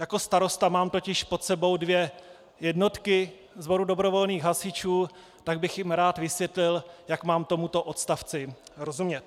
Jako starosta mám totiž pod sebou dvě jednotky sboru dobrovolných hasičů, tak bych jim rád vysvětlil, jak mám tomuto odstavci rozumět.